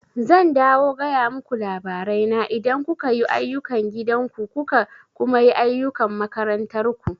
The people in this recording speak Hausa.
Zan dawo gaya muku labarai na idan kuka yi ayukan gidan ku kuka kuma yi ayukan makarantar ku